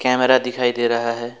Camera दिखाई दे रहा है।